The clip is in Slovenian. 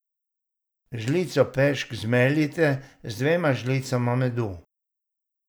Žlico pešk zmeljite z dvema žlicama medu.